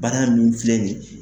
Bana nunnu filɛ nin ye